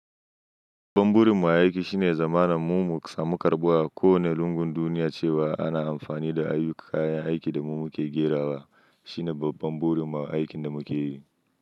Babban burin mu a aiki shine zamana mu musamu karɓuwa ko wanene lungun duniya cewa ana amfani da ayyuka kayan aiki da mu muke gerawa shine babban burin mu a aikin da muke yi.